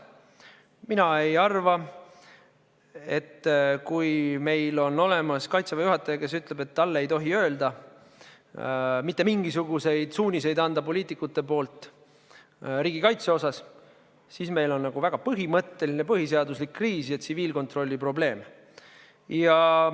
Mina ei arva, et kui meil on Kaitseväe juhataja, kes ütleb, et poliitikud ei tohi talle anda mitte mingisuguseid suuniseid riigikaitse osas, siis meil on nagu väga põhimõtteline põhiseaduslik kriis ja tsiviilkontrolli probleem.